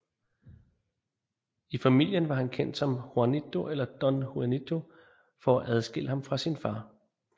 I familien var han kendt som Juanito eller Don Juanito for at adskille ham fra sin far